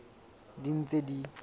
ding le tse ding tse